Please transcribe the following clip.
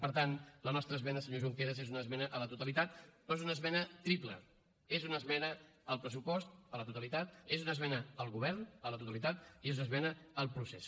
per tant la nostra esmena senyor junqueras és una esmena a la totalitat però és una esmena triple és una esmena al pressupost a la totalitat és una esmena al govern a la totalitat i és una esmena al procés